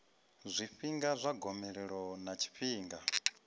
zwifhinga zwa gomelelo ḽa tshifhinga